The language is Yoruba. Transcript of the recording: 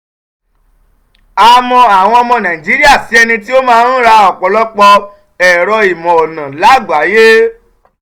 a mọ àwọn ọmọ nàìjíríà sí ẹni tí ó máa ń ra ọ̀pọ̀lọpọ̀ ẹ̀rọ-ìmọ̀ ọ̀nà lágbàáyé.